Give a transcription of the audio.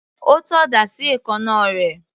Ó tọ́ ọ̀dà sí èékánná rẹ̀.